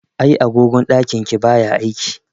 Ai agogon ɗakin ki baya aiki.